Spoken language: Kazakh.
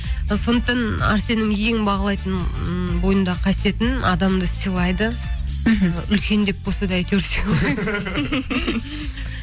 сондықтан әрсеннің ең бағалайтын ммм бойындағы қасиеті м адамды сыйлайды үлкен деп болса да әйтеуір сыйлайды